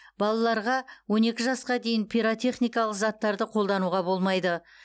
балаларға он екі жасқа дейін пиротехникалық заттарды қолдануға болмайды